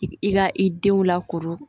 I i ka i denw lakoro